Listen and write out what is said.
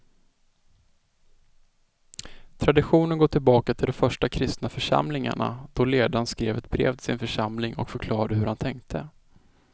Traditionen går tillbaka till de första kristna församlingarna då ledaren skrev ett brev till sin församling och förklarade hur han tänkte.